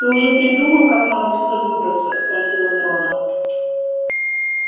ты уже придумал как нам отсюда выбраться спросил он рона